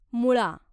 मुळा